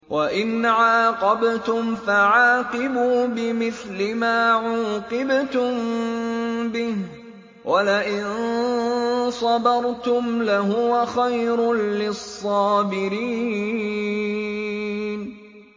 وَإِنْ عَاقَبْتُمْ فَعَاقِبُوا بِمِثْلِ مَا عُوقِبْتُم بِهِ ۖ وَلَئِن صَبَرْتُمْ لَهُوَ خَيْرٌ لِّلصَّابِرِينَ